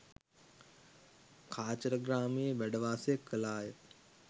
කාචරග්‍රාමයේ වැඩ වාසය කළා ය.